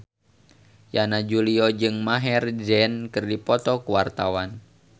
Yana Julio jeung Maher Zein keur dipoto ku wartawan